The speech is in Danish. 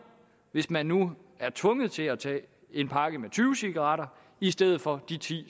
hvis man nu er tvunget til at tage en pakke med tyve cigaretter i stedet for de ti